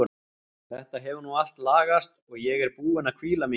Þetta hefur nú allt lagast og ég er búin að hvíla mig hér.